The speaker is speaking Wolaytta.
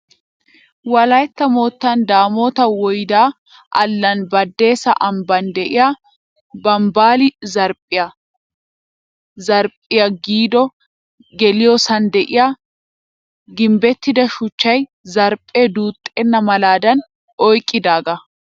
Wolaytta moottan damoota woyde allaana baddeessa ambban de'iyaa bambbali zarphphiya Zarphphiya giddo geliyoosan de'iyaa gimbbettida shuchay zarphphee duuxxenna malaadan oyqqidaaga